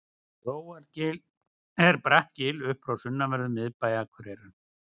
grófargil er bratt gil upp frá sunnanverðum miðbæ akureyrar